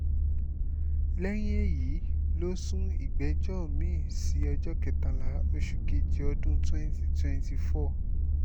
lẹ́yìn èyí ló sún ìgbẹ́jọ́ mi-ín sí ọjọ́ kẹtàlá oṣù kejì ọdún twenty twenty four.